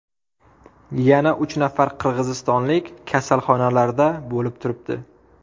Yana uch nafar qirg‘izistonlik kasalxonalarda bo‘lib turibdi.